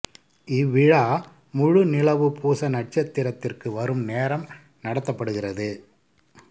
இவ்விழா முழு நிலவு பூச நட்சத்திரத்திற்கு வரும் நேரம் நடத்தப்படுகிறது